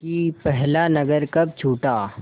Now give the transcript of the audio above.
कि पहला नगर कब छूटा